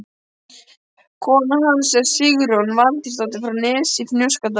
Kona hans er Sigrún Valtýsdóttir frá Nesi í Fnjóskadal.